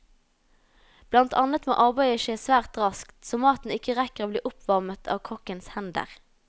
Blant annet må arbeidet skje svært raskt, så maten ikke rekker å bli oppvarmet av kokkens hender.